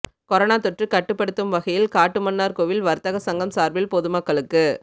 corona தொற்று கட்டுப்படுத்தும் வகையில் காட்டுமன்னார்கோவில் வர்த்தக சங்கம் சார்பில் பொதுமக்களுக்கு